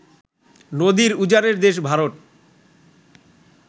নদীর উজানের দেশ ভারত